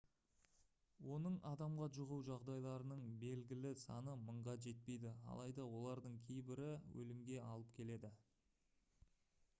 оның адамға жұғу жағдайларының белгілі саны мыңға жетпейді алайда олардың кейбірі өлімге алып келді